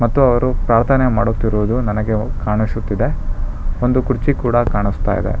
ಮತ್ತು ಅವರು ಪ್ರಾರ್ಥನೆ ಮಾಡುತ್ತಿರುವುದು ನನಗೆ ಕಾಣಿಸುತ್ತಿದೆ ಒಂದು ಕುರ್ಚಿ ಕೂಡ ಕಾಣಸ್ತಾ ಇದೆ.